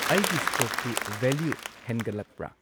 ꯑꯩꯒꯤ ꯁ꯭ꯇꯣꯛꯇꯨ ꯚꯦꯂ꯭ꯌꯨ ꯍꯦꯟꯒꯠꯂꯛꯄ꯭ꯔ?